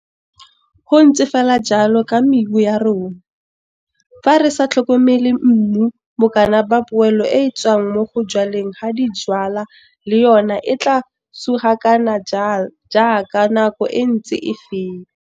Go ntse fela jalo ka mebu ya rona, fa re sa tlhokomele mmu bokana ba poelo e e tswang mo go jwaleng ga dijwalwa le yona a tlaa sugakana jaaka nako e ntse e feta.